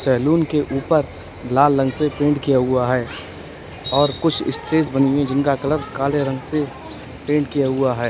Salon के ऊपर लाल रंग से पेंट किया हुआ है और कुछ स्टेज बनी हुई है जिनका कलर काले रंग से पेंट किया हुआ है।